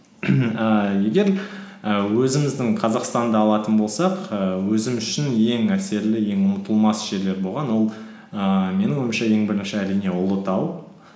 ііі егер і өзіміздің қазақстанды алатын болсақ ііі өзім үшін ең әсерлі ең ұмытылмас жерлер болған ол ііі менің ойымша ең бірінші әрине ұлытау